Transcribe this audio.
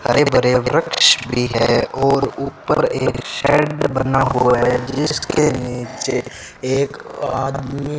ही भरे वृक्ष भी है और ऊपर एक शेड बना हुआ है जिसके नीचे एक आदमी --